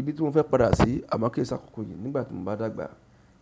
Ibi tí mo fẹ́ padà sí, àmọ́ kì í ṣe àkọ́kọ́ yìí, nígbà tí mo bá dàgbà,